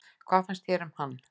Hvað fannst þér um hann?